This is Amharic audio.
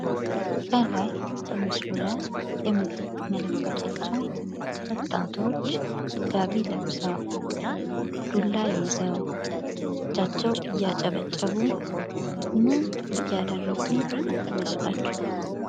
ከላይ በምስሉ ላይ የምትመለከቷቸው ወጣቶች ጋቢ ለብሰው ዱላ ይዘው በእጃቸው እያጨበጨቡ ምንን እያደረጉ ይመስላችኋል?